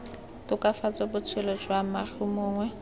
tokafatsa botshelo jwa moagi mongwe